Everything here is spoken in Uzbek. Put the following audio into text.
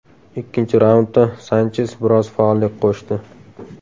Ikkinchi raundda Sanches biroz faollik qo‘shdi.